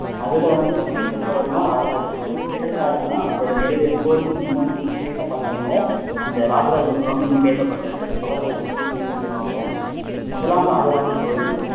அதுல வந்து பிரசித்தி பெற்றவர்னா ராஜராஜ சோழன் எதற்காகன்னா அவர் நிறுவ கோயில் இன்னும் பேசப்படுறதுனால அந்த ராஜராஜ சோழனும் இன்னும் பேசப்படுறாரு அவரை பத்தி சின்ன குறிப்ப இங்க பாப்போம் முதலாம் ராஜராஜ சோழன்